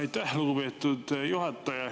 Aitäh, lugupeetud juhataja!